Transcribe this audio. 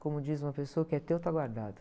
Como diz uma pessoa, o que é teu está guardado.